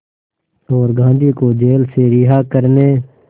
और गांधी को जेल से रिहा करने